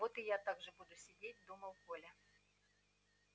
вот и я так же буду сидеть думал коля